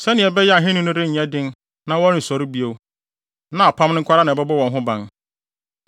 sɛnea ɛbɛyɛ a ahenni no renyɛ den na wɔrensɔre bio, na apam no nko ara na ɛbɛbɔ wɔn ho ban.